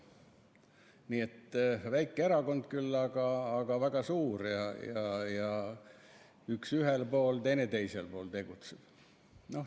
Nii et väike erakond küll, aga väga suur, ja üks tegutseb ühel pool, teine teisel pool.